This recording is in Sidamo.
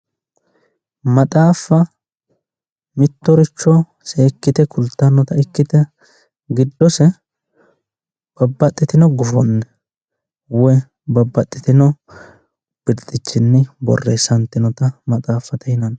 maxaaffa mittoricho seekkite kultannota ikkite giddose babbaxitino gufonni woyi babbaxitino birxichinni borreessantinota maxaaffate yinanni.